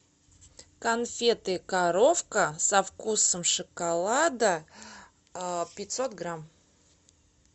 конфеты коровка со вкусом шоколада пятьсот грамм